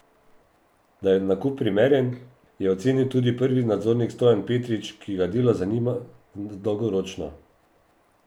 Da je nakup primeren, je ocenil tudi prvi nadzornik Stojan Petrič, ki ga Delo zanima dolgoročno.